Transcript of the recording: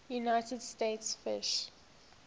united states fish